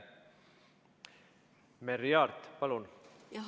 Merry Aart, palun!